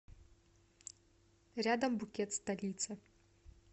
рядом букет столицы